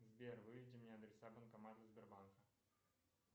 сбер выведи мне адреса банкоматов сбербанка